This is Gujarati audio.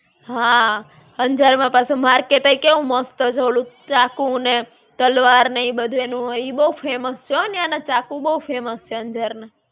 હાં, અંજાર માં પાછું market હોય કેવું મસ્ત છે ઓલું, ચાકુ ને તલવાર ને ઈ બધું એનું હોય. ઈ બહું famous છે હ ન્યાં ના ચાકુ બહું famous છે અંજાર ના.